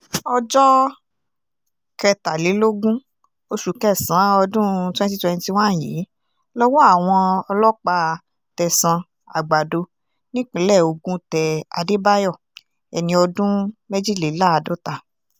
ọjọ́ kẹtàlélógún oṣù kẹsàn-án ọdún twenty twenty one yìí lọ́wọ́ àwọn ọlọ́pàá tẹ̀sán àgbàdo nípínlẹ̀ ogun tẹ àdébáyò ẹni ọdún méjìléláàádọ́ta